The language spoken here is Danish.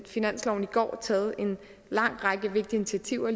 finansloven i går taget en lang række vigtige initiativer